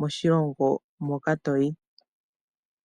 koshilongo hoka toyi.